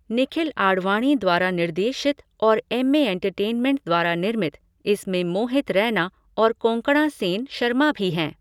निखिल आडवाणी द्वारा निर्देशित और एम्मे एंटरटेनमेंट द्वारा निर्मित, इसमें मोहित रैना और कोंकणा सेन शर्मा भी हैं।